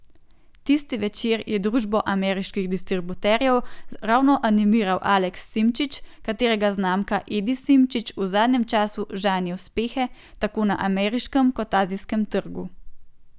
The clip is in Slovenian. Tisti večer je družbo ameriških distributerjev ravno animiral Aleks Simčič, katerega znamka Edi Simčič v zadnjem času žanje uspehe tako na ameriškem kot azijskem trgu.